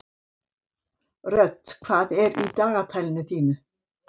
Hödd, hvað er í dagatalinu í dag?